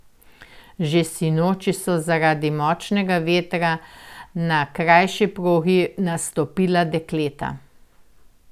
Že sinoči so zaradi močnega vetra na krajši progi nastopila dekleta.